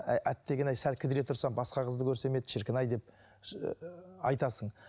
әй әттеген ай сәл кідіре тұрсам басқа қызды көрсем еді шіркін ай деп ыыы айтасың